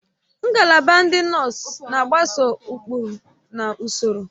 Ngalaba ndị nọọsụ na-agbaso ụkpụrụ na ụsọrọ